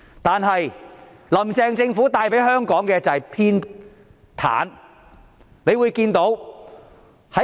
但是，"林鄭"政府帶給香港的是偏袒。